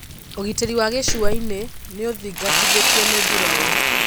ugitĩri wa gĩcũainĩ nĩũgũthingatithio nĩ mbirarũ.